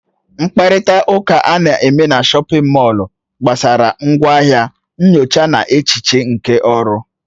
Mkparịta ụka ana-eme na shọpin mọll gbasara ngwaahịa, nyocha na echiche nke ọrụ.